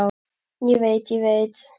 Ég veit, ég veit.